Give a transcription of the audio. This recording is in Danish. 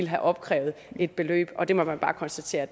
havde opkrævet et beløb og det må man bare konstatere